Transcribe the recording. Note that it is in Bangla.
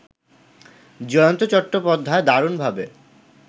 জয়ন্ত চট্টোপাধ্যায় দারুণভাবে